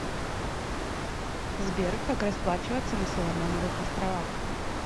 сбер как расплачиваться на соломоновых островах